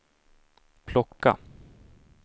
plocka